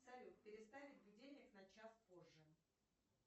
салют переставить будильник на час позже